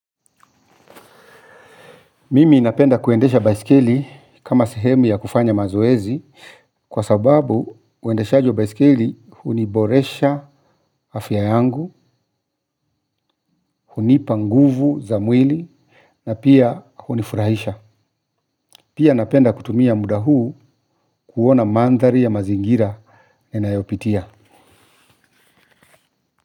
Mimi napenda kuendesha baisikeli kama sehemi ya kufanya mazoezi. Kwa sababu uendeshaji wa baisikeli huniboresha afya yangu. Hunipa nguvu za mwili na pia hunifurahisha. Pia napenda kutumia muda huu kuona mandhari ya mazingira yanayopitia.